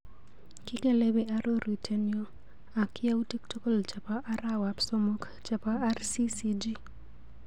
Kikelepi arorutienyu ak yautik tukul chebo arawap somok chebo RCCG.